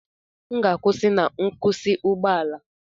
M ga-akwụsị na nkwụsị ụgbọ ala